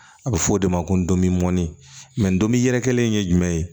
A bɛ fɔ o de ma ko donbi mɔni mɛ donbi yɛrɛkɛlen in ye jumɛn ye